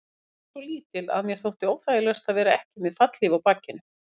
Vélin var svo lítil að mér þótti óþægilegast að vera ekki með fallhlíf á bakinu.